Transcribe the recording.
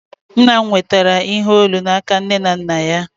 Nna m nwetara ihe olu n'aka nne na nna ya